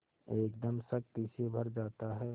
एकदम शक्ति से भर जाता है